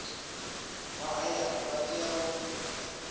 vha hayani vha tea u